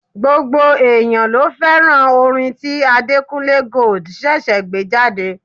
Gbogbo èèyàn ló fẹ́ràn orin tí Adekunle Gold ṣẹ̀ṣẹ̀ gbé jáde.